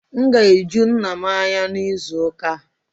M ga-eju nna m anya n'izu ụka a